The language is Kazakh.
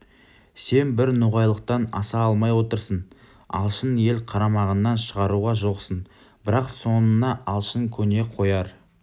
сен бір ноғайлылықтан аса алмай отырсың алшын елін қарамағыңнан шығаруға жоқсың бірақ соныңа алшын көне қояр